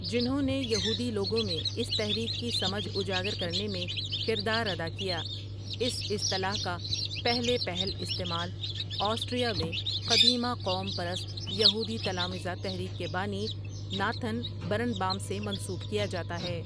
جنھوں نے یہودی لوگوں میں اس تحریک کی سمجھ اجاگر کرنے میں کردار ادا کیا اس اصطلاح کا پہلے پہل استعمال آسٹریا میں قدیمہ قوم پرست یہودی تلامذہ تحریک کے بانی ناتھن برنبام سےمنسوب کیا جاتا ہے ۔